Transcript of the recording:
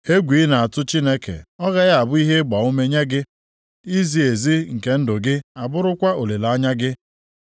Egwu ị na-atụ Chineke ọ gaghị abụ ihe ịgbaume nye gị, izi ezi nke ndụ gị abụrụkwa olileanya gị?